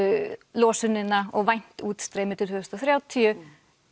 losunina og væntanlegt útstreymi til tvö þúsund og þrjátíu